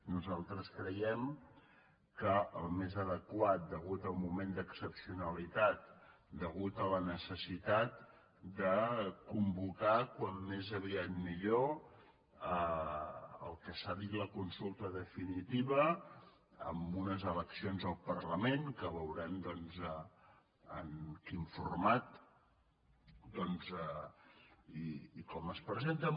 nosaltres creiem que el més adequat a causa del moment d’excepcionalitat a causa de la necessitat de convocar com més aviat millor el que se n’ha dit la consulta definitiva amb unes eleccions al parlament que veurem doncs amb quin format i com es presenten